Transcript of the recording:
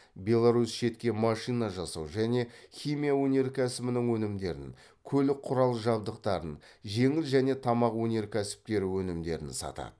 беларусь шетке машина жасау және химия өнеркәсібінің өнімдерін көлік құрал жабдықтарын жеңіл және тамақ өнеркәсіптері өнімдерін сатады